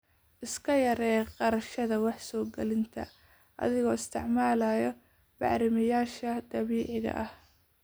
Iska yaree kharashyada wax soo gelinta adigoo isticmaalaya bacrimiyeyaasha dabiiciga ah.